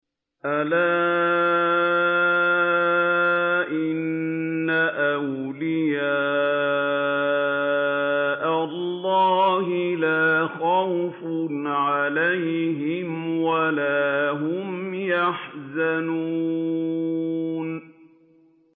أَلَا إِنَّ أَوْلِيَاءَ اللَّهِ لَا خَوْفٌ عَلَيْهِمْ وَلَا هُمْ يَحْزَنُونَ